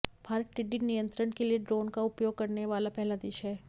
भारत टिड्डी नियंत्रण के लिए ड्रोन का उपयोग करने वाला पहला देश है